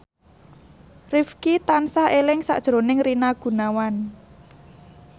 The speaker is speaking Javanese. Rifqi tansah eling sakjroning Rina Gunawan